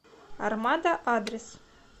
армада адрес